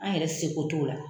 An yɛrɛ seko t'o la